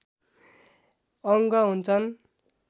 अङ्ग हुन्छन्